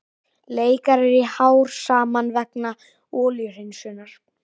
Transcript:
Leikarar í hár saman vegna olíuhreinsunar